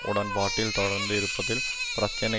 உடன்பாட்டில் தொடர்த்து இருப்பதில் பிரச்சனை